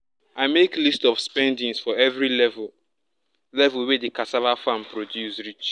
i make list of spendings for every level level wey di cassava farm produce reach